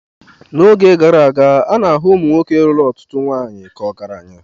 N'oge gara aga, a na-ahụ nwoke lụrụ ọtụtụ nwanyị ka ọgaranya.